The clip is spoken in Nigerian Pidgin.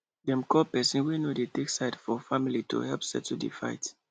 dem call person wey no dey take side for family to help settle di fight